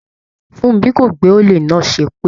Funbí kò gbé olè náà ṣépè